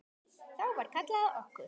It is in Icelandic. Þá var kallað á okkur.